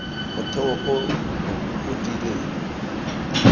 motheo ono o o tiileng